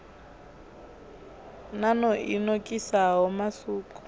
nan o i nokisaho musuku